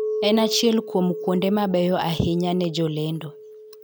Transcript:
En achiel kuom kuonde mabeyo ahinya ne jolendo